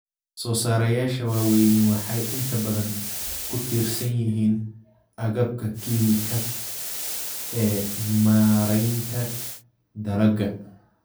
Soosaarayaasha waaweyni waxay inta badan ku tiirsan yihiin agabka kiimikaad ee maaraynta dalagga.